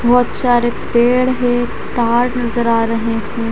बहोत सारे पेड़ है तार नजर आ रहे है।